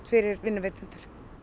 fyrir vinnuveitendur